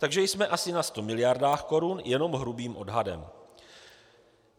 Takže jsme asi na 100 miliardách korun jenom hrubým odhadem.